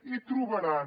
i trobaran